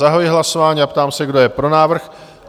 Zahajuji hlasování a ptám se, kdo je pro návrh?